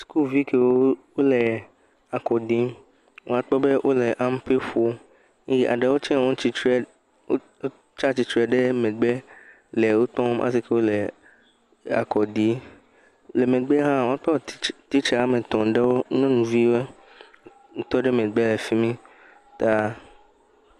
Sukuvi kewo le wole akɔ ɖim, mekpɔ wole ampe ƒom, eɖewo wotsatsitre ɖe megbe le wo tɔ le akɔ ɖim, le megbea hã, woatɔ titsa ame etɔ̃ ɖewo, nyɔnuviwɔe, wotɔ ɖe megbe le fi mi ta…